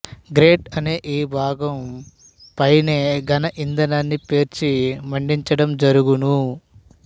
great అనే ఈ భాగం పైనే ఘనఇంధనాన్ని పేర్చి మండించడం జరుగును